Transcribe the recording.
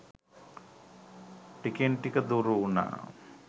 ටිකෙන් ටික දුරු වුණා.